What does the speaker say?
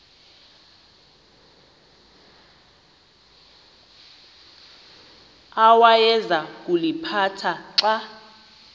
awayeza kuliphatha xa